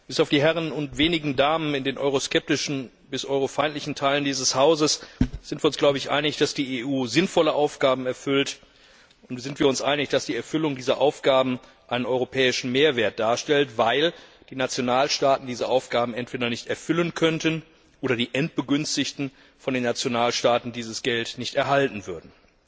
Bis auf die Herren und wenigen Damen in den euroskeptischen bis eurofeindlichen Teilen dieses Hauses sind wir uns, glaube ich, einig, dass die EU sinnvolle Aufgaben erfüllt und dass die Erfüllung dieser Aufgaben einen europäischen Mehrwert darstellt, weil die Nationalstaaten diese Aufgaben entweder nicht erfüllen könnten oder die Endbegünstigten von den Nationalstaaten dieses Geld nicht erhalten würden.